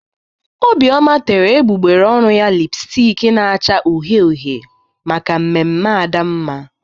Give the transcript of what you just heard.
Obioma tere egbugbere ọnụ ya lịpstik na-acha uhie uhie maka mmemme Adamma